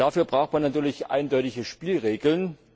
Dafür braucht man natürlich eindeutige Spielregeln.